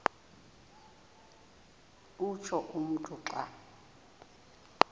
utsho umntu xa